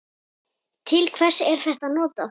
Til hvers er þetta notað?